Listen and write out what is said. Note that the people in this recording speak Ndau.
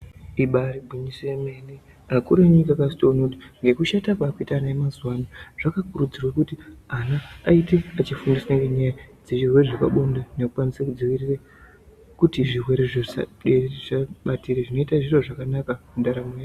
Ibairi ngwinyiso ye mene akuru enyika akazotoona kuti ngekushata kwakuita ana e mazuva ano zvaka kurudzirwe kuti ana ayite echi fundiswa ngenyaya dze zvirwere zvepa bonde neku kwanise kudzivirire kuti zvirwere zvo zvisa batire zvinoita zviro zvakanaka mu ndaraunda yedu.